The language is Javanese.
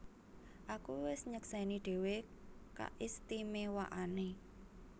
Aku wis nyeksèni dhéwé kaistimewaanné